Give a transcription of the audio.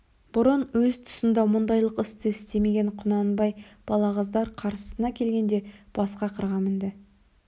бұрын өз тұсында мұндайлық істі істемеген құнанбай балағаздар қарсысына келгенде басқа қырға мінді